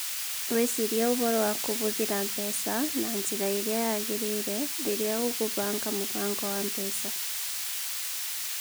Wĩcirie ũhoro wa kũhũthĩra mbeca na njĩra ĩrĩa yagĩrĩire rĩrĩa ũgũbanga mũbango wa mbeca.